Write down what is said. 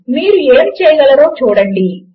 మీరు ఏమి చేయగలరో చూడండి